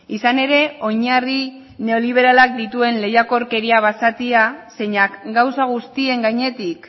izan ere oinarri neoliberalak dituen lehiakorkeria basatia zeinak gauza guztien gainetik